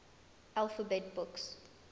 alphabet books